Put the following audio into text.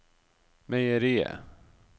meieriet